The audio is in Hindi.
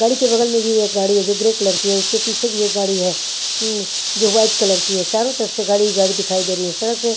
गाड़ी के बगल में भी एक गाड़ी है जो ग्रे कलर की है उसके पीछे भी एक गाड़ी है ऊम जो वाइट कलर की है चारों तरफ शे गाड़ी ही गाड़ी दिखाई दे रही है सड़क पे--